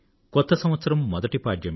కొత్త సంవత్సరం మొదటి పాడ్యమి